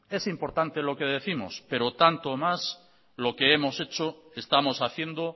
es importante lo que décimos pero tanto o más lo que hemos hecho estamos haciendo